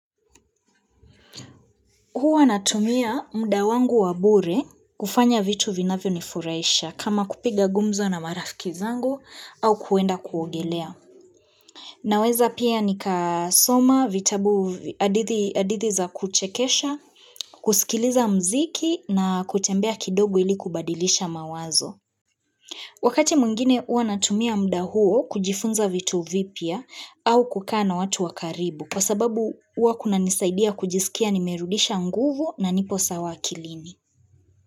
Huwa natumia mda wangu wa bure kufanya vitu vinavyo nifuraisha kama kupiga gumzo na marafiki zangu, au kuenda kuogelea. Naweza pia nika soma vitabu vy adithi adithi za kuchekesha, kusikiliza mziki na kutembea kidogu ili kubadilisha mawazo. Wakati mwingine uwa natumia mda huo kujifunza vitu vipya, au kukaa na watu wakaribu. Kwa sababu uwa kunanisaidia kujisikia nimerudisha nguvu na nipo sawa akilini.